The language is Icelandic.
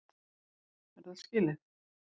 Er það skilið?